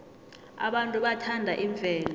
abantu bathanda imvelo